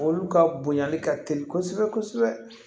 Olu ka bonyali ka teli kosɛbɛ kosɛbɛ